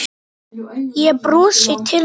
Ég brosi til hans.